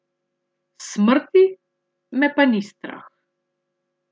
Smrti me pa ni strah.